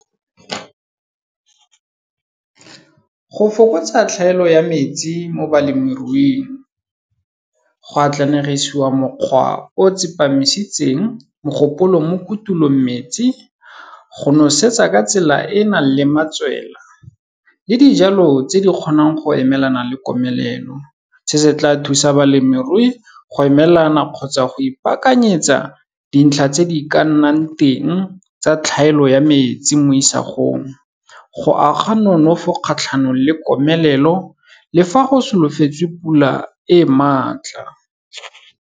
Go fokotsa tlhaelo ya metsi mo balemiruing, go atlanegisiwa mokgwa o tsepamisitseng mogopolo mo kutulometsi, go nosetsa ka tsela e e nang le matswela le dijalo tse di kgonang go emelana le komelelo. Se se tla thusa balemirui go emelelana kgotsa go ipakanyetsa dintlha tse di ka nang teng tsa tlhaelo ya metsi mo isagong, go aga nonofo kgatlhanong le komelelo le fa go solofetse pula e maatla.